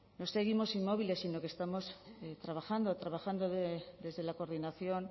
no seguimos inmóviles sino que estamos trabajando trabajando desde la coordinación